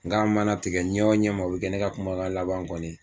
Nga mana tigɛ ɲɛ o ɲɛ ma o be kɛ ne ka kuma laban kɔni ye